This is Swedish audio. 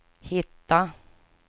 hitta